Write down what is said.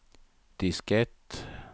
diskett